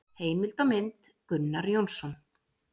Heimild og mynd: Gunnar Jónsson.